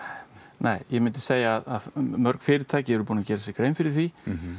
nei ég myndi segja að mörg fyrirtæki séu búin að gera sér grein fyrir því